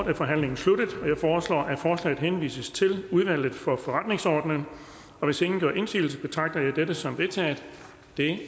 er forhandlingen sluttet jeg foreslår at forslaget henvises til udvalget for forretningsordenen hvis ingen gør indsigelse betragter jeg dette som vedtaget det